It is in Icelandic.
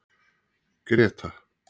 Greta